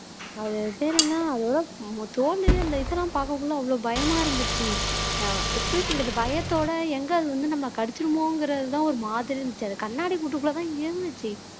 அது பேரு என்ன அதோட தோலு அந்த இதெல்லாம் பார்க்கக்குள்ள அவ்வளவு பயமா இருந்துச்சு அஹ் எப்படி சொல்றது பயத்தோட எங்க அது வந்து நம்ம கடிச்சுருமோங்கிற தான் ஒரு மாதிரி இருந்துச்சு அது கண்ணாடி கூட்டுக்குள்ள தான் இருந்துச்சு